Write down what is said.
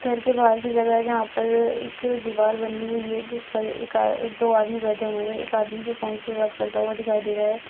घर के बाहर की जगह है जहां पर एक दीवार बनी हुई है जिस पर एक आ दो आदमी बैठे हुए हैं। एक आदमी जो फोन पे बात करता हुआ दिखाई दे रहा है।